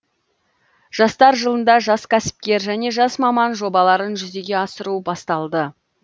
жастар жылында жас кәсіпкер және жас маман жобаларын жүзеге асыру басталды